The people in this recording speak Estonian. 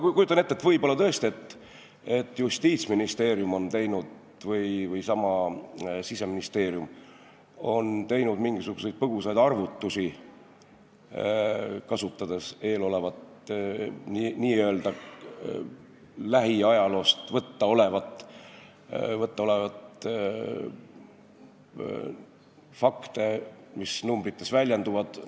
Ma kujutan ette, et võib-olla tõesti Justiitsministeerium või Siseministeerium on teinud mingisuguseid põgusaid arvutusi, kasutades n-ö lähiajaloost saada olevaid fakte, mis numbrites väljenduvad.